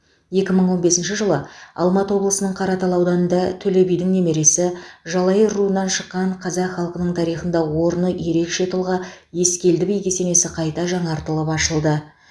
екі мың он бесінші жылы алматы облысының қаратал ауданында төле бидің немересі жалайыр руынан шыққан қазақ халқының тарихында орны ерекше тұлға ескелді би кесенесі қайта жаңартылып ашылды